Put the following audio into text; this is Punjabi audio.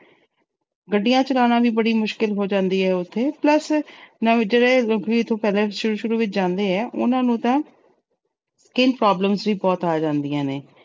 ਗੱਡੀਆਂ ਚਲਾਉਣਾ ਵੀ ਬੜੀ ਮੁਸ਼ਕਲ ਹੋ ਜਾਂਦੀ ਏ ਉੱਥੇ, plus ਜਿਹੜੇ ਨਵੇਂ ਲੋਕੀ ਪਹਿਲਾ ਸ਼ੁਰੂ ਸ਼ੁਰੂ ਵਿੱਚ ਜਾਂਦੇ ਆ, ਉਹਨਾਂ ਨੂੰ ਤਾਂ skin problems ਵੀ ਬਹੁਤ ਆ ਜਾਂਦੀਆਂ ਨੇ।